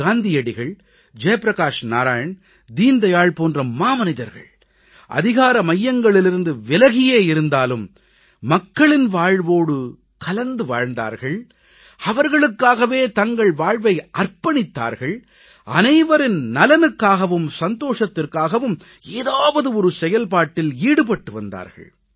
காந்தியடிகள் ஜெயப்பிரகாஷ் நாராயண் தீன் தயாள் போன்ற மாமனிதர்கள் அதிகார மையங்களிலிருந்து விலகியே இருந்தாலும் மக்களின் வாழ்வோடு கலந்து வாழ்ந்தார்கள் அவர்களுக்காகவே தங்கள் வாழ்வை அர்ப்பணித்தார்கள் அனைவரின் நலனுக்காகவும் சந்தோஷத்திற்காகவும் ஏதாவது ஒரு செயல்பாட்டில் ஈடுபட்டு வந்தார்கள்